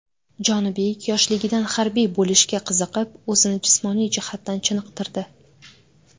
Jonibek yoshligidan harbiy bo‘lishga qiziqib, o‘zini jismoniy jihatdan chiniqtirdi.